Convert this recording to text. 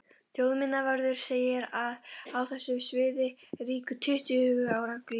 Þjóðminjavörður segir að á þessu sviði ríki tuttugu ára lögmál.